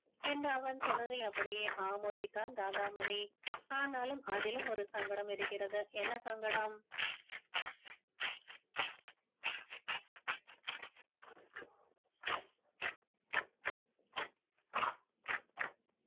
என்று அவன் சொன்னதை அப்படியே ஆமோதித்தான் ஆனாலும் அதிலும் ஒரு சங்கடம் இருக்கிறது என்ன சங்கடம்